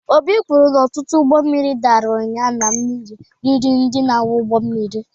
Obi kwuru na ọtụtụ ụgbọ mmiri dara ụnyahụ na mmiri riri ndị na-akwọ ụgbọ mmiri.